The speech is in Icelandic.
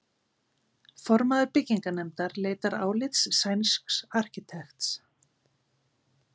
Formaður byggingarnefndar leitar álits sænsks arkitekts.